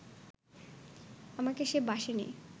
আমাকে সে বাসেনি